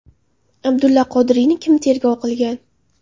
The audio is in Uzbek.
Abdulla Qodiriyni kim tergov qilgan?